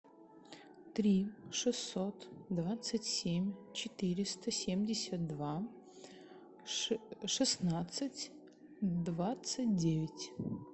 три шестьсот двадцать семь четыреста семьдесят два шестнадцать двадцать девять